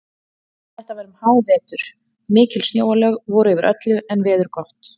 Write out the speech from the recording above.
Þetta var um hávetur, mikil snjóalög voru yfir öllu en veður gott.